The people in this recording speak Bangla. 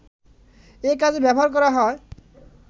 এ কাজে ব্যবহার করা হয়